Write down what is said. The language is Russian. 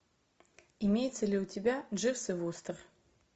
имеется ли у тебя дживс и вустер